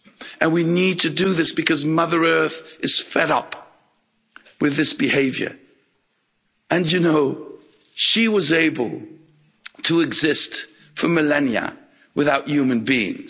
And we need to do this because Mother Earth is fed up with this behaviour. And you know, she was able to exist for millennia without human beings